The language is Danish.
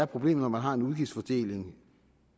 problem når man har en udgiftsfordeling